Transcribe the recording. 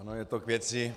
Ano, je to k věci.